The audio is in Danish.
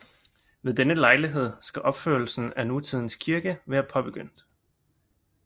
Ved denne lejlighed skal opførelsen af nutidens kirke være påbegyndt